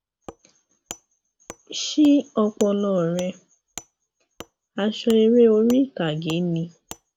ṣí ọpọlọ rẹ aṣọ eré orí ìtàgé ni